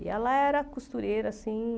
E ela era costureira, assim...